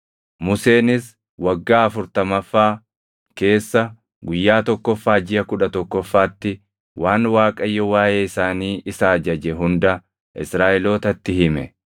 Museenis waggaa afurtamaffaa keessa guyyaa tokkoffaa jiʼa kudha tokkoffaatti waan Waaqayyo waaʼee isaanii isa ajaje hunda Israaʼelootatti hime.